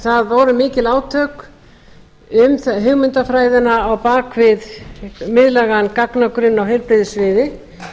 það voru mikil átök um hugmyndafræðina á bak við miðlægan gagnagrunn á heilbrigðissviði